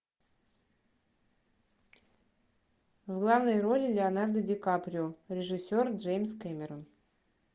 в главной роли леонардо ди каприо режиссер джеймс кэмерон